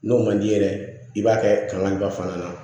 N'o man di ye yɛrɛ i b'a kɛ kan in ba fana na